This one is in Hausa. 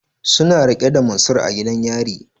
Suna rike da Mansur a gidan gyara.